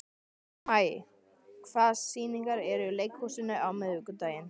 Maj, hvaða sýningar eru í leikhúsinu á miðvikudaginn?